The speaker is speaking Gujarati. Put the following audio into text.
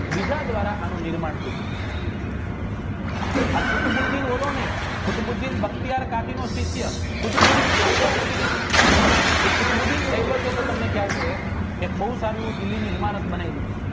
બીજા દ્વારા એનું નિર્માણ થયું હતું આ કુતબુદ્ધિ ઓલો નહિ કુતબુદ્ધિ બતયાર કાતિનો શિષ્ય કુતબુદ્ધિ આયબકને કુતબુદ્ધિ એક બવ સારી ઇમારત બનાવી હતી